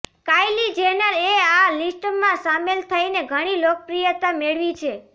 Kylie Jenner એ આ list માં સામેલ થઈને ઘણી લોકપ્રિયતા મેળવી છે